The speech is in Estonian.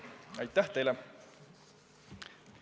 Aitäh teile!